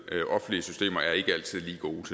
at offentlige systemer ikke altid